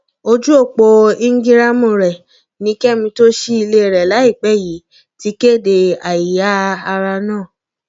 ojú ọpọ íńgíráàmù rẹ ni kẹmi tó ṣí ilé rẹ láìpẹ yìí ti kéde àìyá ara náà